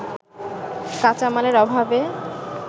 কাঁচামালের অভাবে